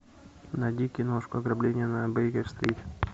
найди киношку ограбление на бейкер стрит